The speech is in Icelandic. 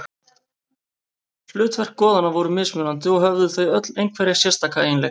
Hlutverk goðanna voru mismunandi og höfðu þau öll einhverja sérstaka eiginleika.